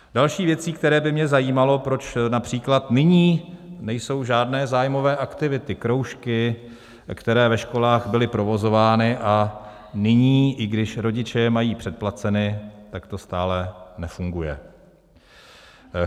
Další věcí, která by mě zajímala, proč například nyní nejsou žádné zájmové aktivity, kroužky, které ve školách byly provozovány, a nyní, i když rodiče je mají předplaceny, tak to stále nefunguje.